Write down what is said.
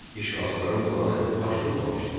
İşğalçıların planı baş tutmamışdı.